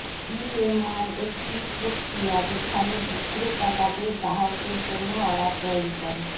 VMI একটি প্রক্রিয়া যেখানে বিক্রেতা তাদের গ্রাহকদের জন্য অর্ডার তৈরি করে